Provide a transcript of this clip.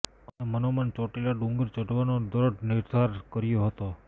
અને મનોમન ચોટીલા ડુંગર ચઢવાનો દ્રઢ નિર્ધાર કર્યો હતો